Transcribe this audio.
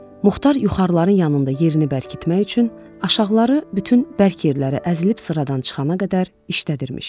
Muxtar yuxarıların yanında yerini bərkitmək üçün aşağıları bütün bərk yerləri əzilib sıradan çıxana qədər işlədirmiş.